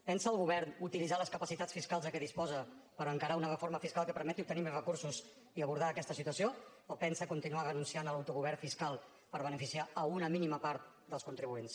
pensa el govern utilitzar les capacitats fiscals de què disposa per encarar una reforma fiscal que permeti obtenir més recursos i abordar aquesta situació o pensa continuar renunciant a l’autogovern fiscal per beneficiar una mínima part dels contribuents